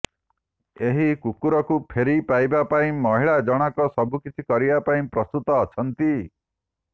ଏହି କୁକୁରକୁ ଫେରି ପାଇବା ପାଇଁ ମହିଳା ଜଣକ ସବୁକିଛି କରିବା ପାଇଁ ପ୍ରସ୍ତୁତ ଅଛନ୍ତି